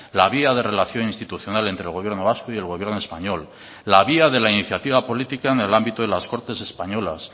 la vía de relación institucional entre el gobierno vasco y el gobierno español la vía de la iniciativa política en el ámbito de las cortes españolas